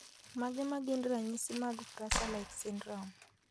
Mage magin ranyisi mag Fraser like syndrome